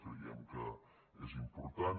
creiem que és important